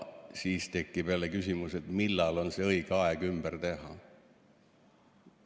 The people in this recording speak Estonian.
Siis tekib jälle küsimus, millal on õige aeg ümber teha.